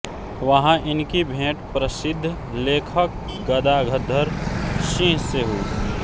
वहां इनकी भेंट प्रसिद्ध लेखक गदाधर सिंह से हुई